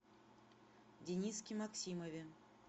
дениске максимове